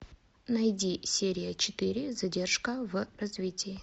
найди серия четыре задержка в развитии